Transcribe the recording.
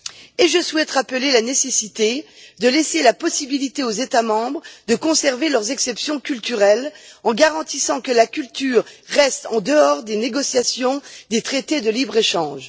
De plus, je souhaite rappeler la nécessité de laisser la possibilité aux États membres de conserver leurs exceptions culturelles en garantissant que la culture reste en dehors des négociations des traités de libre échange.